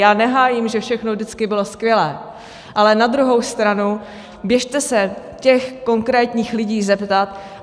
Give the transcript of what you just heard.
Já nehájím, že všechno vždycky bylo skvělé, ale na druhou stranu běžte se těch konkrétních lidí zeptat.